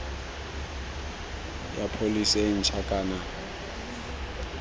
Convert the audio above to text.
ya pholese e ntšha kana